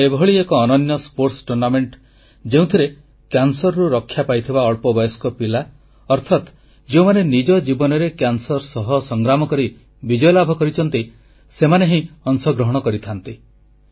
ଏହା ଏଭଳି ଏକ ଅନନ୍ୟ ପ୍ରତିଯୋଗିତା ଯେଉଁଥିରେ କ୍ୟାନସରରୁ ରକ୍ଷା ପାଇଥିବା ଅଳ୍ପବୟସ୍କ ପିଲା ଅର୍ଥାତ୍ ଯେଉଁମାନେ ନିଜ ଜୀବନରେ କ୍ୟାନସର ସହ ସଂଗ୍ରାମ କରି ବିଜୟ ଲାଭ କରିଛନ୍ତି ସେମାନେ ହିଁ ଅଂଶଗ୍ରହଣ କରିଥାନ୍ତି